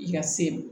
I ka se